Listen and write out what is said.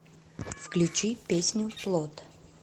включи песню плот